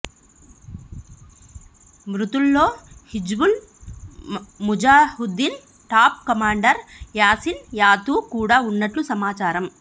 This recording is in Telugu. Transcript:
మృతుల్లో హిజ్బుల్ ముజాహిద్దీన్ టాప్ కమాండర్ యాసిన్ యాతూ కూడా ఉన్నట్టు సమాచారం